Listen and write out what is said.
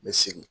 N bɛ sigi